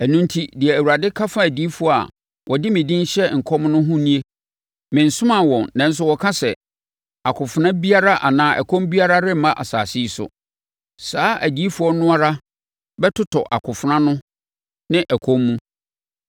Ɛno enti, deɛ Awurade ka fa adiyifoɔ a wɔde me din hyɛ nkɔm no ho nie: mensomaa wɔn nanso wɔka sɛ, ‘Akofena biara anaa ɛkɔm biara remma asase yi so.’ Saa adiyifoɔ no ara bɛtotɔ akofena ano ne ɛkɔm mu.